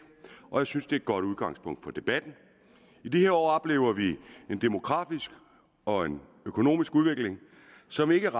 og jeg synes den er et godt udgangspunkt for debatten i de her år oplever vi en demografisk og økonomisk udvikling som ikke